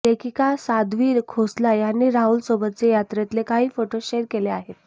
लेखिका साध्वी खोसला यांनी राहुलसोबतचे यात्रेतले काही फोटो शेअर केले आहेत